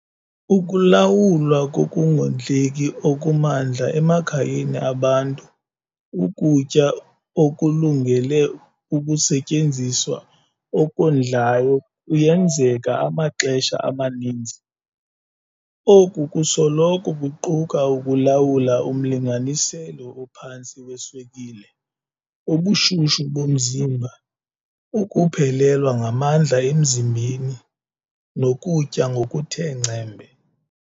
Ukulawulwa kokungondleki okumandla emakhayeni abantu ukutya okulungele ukusetyenziswa okondlayo kuyenzeka amaxesha amaninzi. Oku kusoloko kuquka ukulawula umlinganiselo ophantsi weswekile, ubushushu bomzimba, ukuphelelwa ngamanzi emzimbeni, nokutya ngokuthe ngcembe.